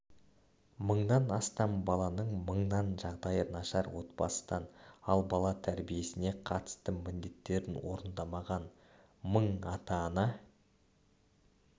мыңнан астам баланың мыңы жағдайы нашар отбасыдан ал бала тәрбиесіне қатысты міндеттерін орындамаған мың ата-ана